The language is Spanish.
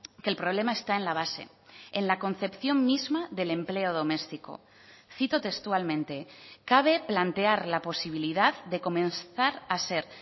que el problema está en la base en la concepción misma del empleo doméstico cito textualmente cabe plantear la posibilidad de comenzar a ser